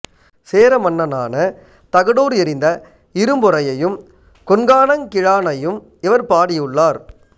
சேர மன்னனான தகடூர் எறிந்த இரும்பொறையையும் கொண்கானங் கிழானையும் இவர் பாடியுள்ளார்